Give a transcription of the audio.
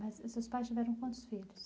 Mas os seus pais tiveram quantos filhos?